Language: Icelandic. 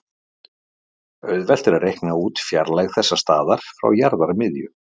Auðvelt er að reikna út fjarlægð þessa staðar frá jarðarmiðju.